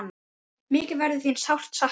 Mikið verður þín sárt saknað.